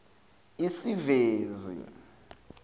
isevisi